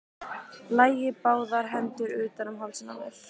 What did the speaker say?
Lagði báðar hendur utan um hálsinn á mér.